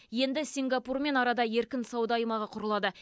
енді сингапурмен арада еркін сауда аймағы құрылады